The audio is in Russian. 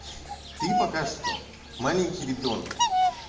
ты пока что маленький ребёнок